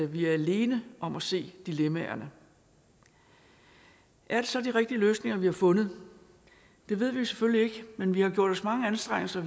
vi er alene om at se dilemmaerne er det så de rigtige løsninger vi har fundet det ved vi selvfølgelig ikke men vi har gjort os mange anstrengelser